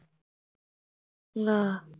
ਆਹ